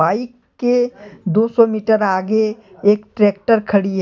Bike के दो सौ मीटर आगे एक ट्रैक्टर खड़ी है।